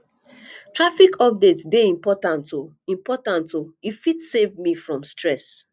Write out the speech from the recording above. traffic update dey important o important o e fit dey save me from stress